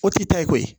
O t'i ta ye koyi